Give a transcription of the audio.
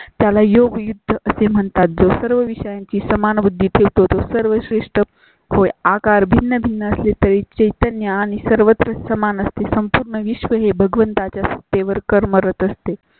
त्याला योग् युद्ध असे म्हणतात जो सर्व विषयांची समान बुद्धी ठेवतो सर्वश्रेष्ठ होय. आकार भिन्न भिन्न असली तरी चैतन्य आणि सर्वत्र समान असते. संपूर्ण विश्व हे भगवंता सत्तेवर कर्मरत असते.